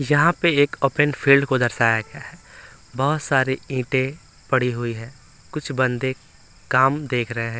यहाँ पे एक ओपन फील्ड को दर्शाया गया है बहुत सारी ईंटें पड़ी हुई है कुछ बंदे काम देख रहे हैं।